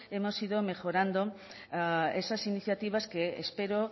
hemos ido mejorando esas iniciativas que espero